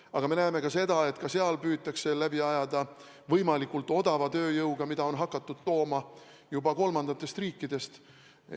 Aga me näeme ka seda, et sealgi püütakse läbi ajada võimalikult odava tööjõuga, mida on hakatud tooma juba kolmandatest riikidest.